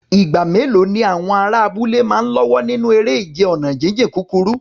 Ìgbà mélòó ni àwọn ará abúlé máa ń lọ́wọ́ nínú eré ìje ọ̀nà jíjìn kúkúrú?